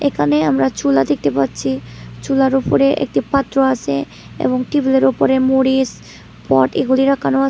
এখানে আমরা চুলা দেখতে পাচ্ছি চুলার ওপরে একটি পাত্র আসে এবং টেবিল এর ওপরে মরিস পট এগুলি রাখানো আসে।